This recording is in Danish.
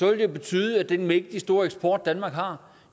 vil det betyde at den mægtig store eksport danmark har